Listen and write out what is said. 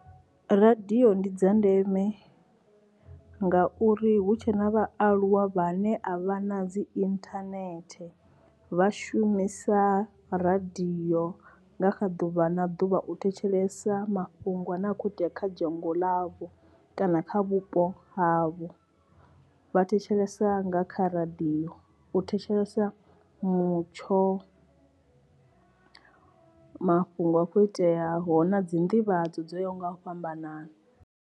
Radio ndi dza ndeme nga uri hu tshe na vhaaluwa vhane a vha na dzi internet vha shumisa radio nga kha ḓuvha na ḓuvha u thetshelesa mafhungo a ne a khou itea kha dzhango ḽavho kana kha vhupo havho vha thetshelesa nga kha radio u thetshelesa mutsho, mafhungo a kho iteaho na dzi ndivhadzo dzo ya ho nga u fhambanana.